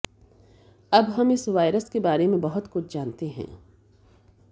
हम अब इस वायरस के बारे में बहुत कुछ जानते हैं